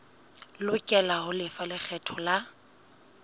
lokela ho lefa lekgetho la